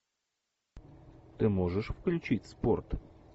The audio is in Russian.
ты можешь включить спорт